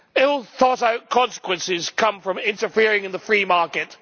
Ill thought-out consequences come from interfering in the free market.